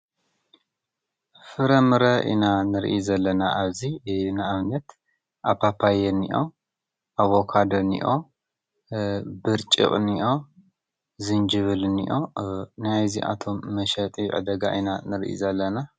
ፍረምረ ኢና ንርእይ ዘለና ኣብዚ ንኣብነት ፓፓዮ እኒኦ፣ ኣቨካዶ እኒኦ፣ ብርጭቕ እኒኦ ፣ዝንጅብል እኒኦ ናይዚኣቶም መሸጢ ዕዳጋ ኢና ንርኢ ዘለና።